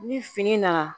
Ni fini nana